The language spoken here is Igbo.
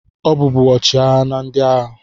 Ọ bụ ọchịagha na ndị agha.